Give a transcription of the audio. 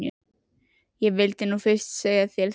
Ég vildi nú fyrst segja þér þetta.